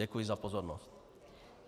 Děkuji za pozornost.